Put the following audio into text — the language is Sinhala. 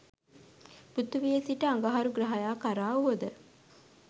පෘථිවියේ සිට අඟහරු ග්‍රහයා කරා වුවද